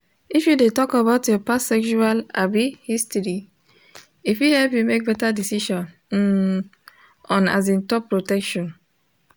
if you de talk about your past sexual um history e fit help you make better decisions um on um top protection